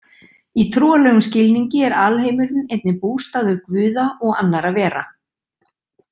Í trúarlegum skilningi er alheimurinn einnig bústaður guða og annara vera.